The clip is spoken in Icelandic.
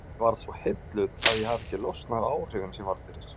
Ég varð svo heilluð að ég hefi ekki losnað við áhrifin sem ég varð fyrir.